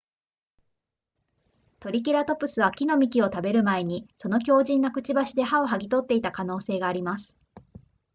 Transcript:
トリケラトプスは木の幹を食べる前にその強靭なくちばしで葉をはぎ取っていた可能性があります